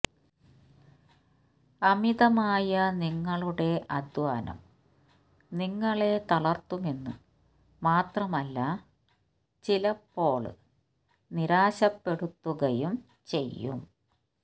അമിതമായ നിങ്ങളുടെ അധ്വാനം നിങ്ങളെ തളര്ത്തുമെന്ന് മാത്രമല്ല ചിലപ്പോള് നിരാശപ്പെടുത്തുകയും ചെയ്യും